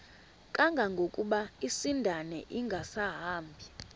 kangangokuba isindane ingasahambi